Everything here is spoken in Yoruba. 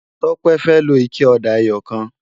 Tope fè ló iké òdá èyòkán